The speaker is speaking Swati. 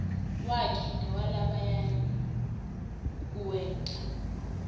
wakhe newalabanye kuwenta